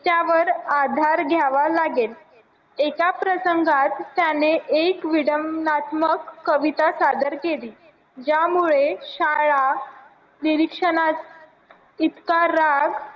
त्यावर आधार द्यावा लागेल एका प्रसंगास त्याने एक विडममातमक कविता सादर केली ज्यामुळे शाळा निरीक्षणा इतका राग